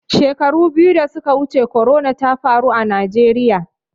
Shekaru biyu da suka wuce corona ta faru a Najeriya.